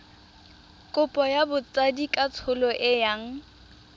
kopo ya botsadikatsholo e yang